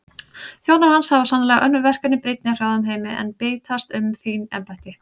Þjónar hans hafa sannarlega önnur verkefni brýnni í hrjáðum heimi en bítast um fín embætti.